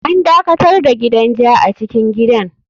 An dakatar da gidan ja a cikin gidan.